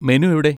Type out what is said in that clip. Menu എവിടെ?